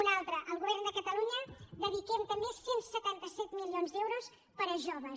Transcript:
una altra el govern de catalunya dediquem també cent i setanta set milions d’euros per a joves